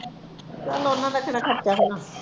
ਚੱਲ ਉਹਨਾਂ ਦਾ ਕਿਹੜਾ ਖਰਚ ਹੋਣਾ।